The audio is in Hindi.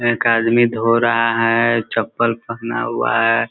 एक आदमी धो रहा है चप्पल पहना हुआ है।